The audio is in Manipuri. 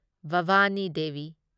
ꯚꯥꯚꯥꯅꯤ ꯗꯦꯚꯤ